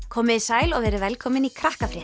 komiði sæl og verið velkomin í